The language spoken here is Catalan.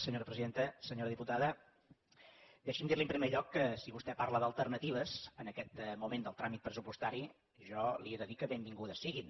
senyora diputada deixi’m dir li en primer lloc que si vostè parla d’alternatives en aquest moment del tràmit pressupostari jo li he de dir que benvingudes siguin